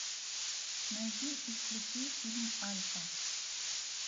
найди и включи фильм альфа